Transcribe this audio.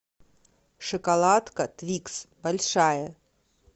шоколадка твикс большая